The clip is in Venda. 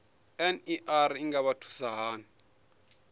ner i nga vha thusa hani